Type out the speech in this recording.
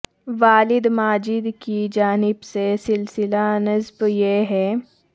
والد ماجد کی جانب سے سلسلہ نسب یہ ہے